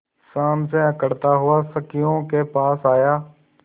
शान से अकड़ता हुआ संगियों के पास आया